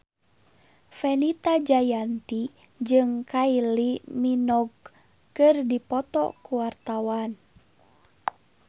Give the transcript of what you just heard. Fenita Jayanti jeung Kylie Minogue keur dipoto ku wartawan